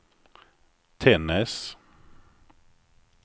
Tännäs